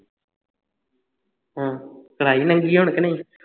ਹੂ ਕਰਵਾਈ ਨਗੀ ਕਿ ਨਹੀਂ